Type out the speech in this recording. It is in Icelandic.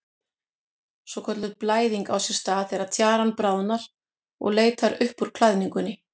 Svokölluð blæðing á sér stað þegar tjaran bráðnar og leitar upp úr klæðingunni.